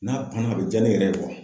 N'a banna a be ja ne yɛrɛ ye